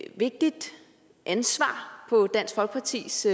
et vigtigt ansvar på dansk folkepartis